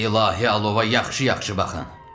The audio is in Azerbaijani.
Bu ilahi alova yaxşı-yaxşı baxın.